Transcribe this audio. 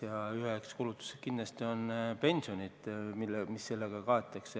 Ja üheks kulutuseks on pensionid, mis sellega kaetakse.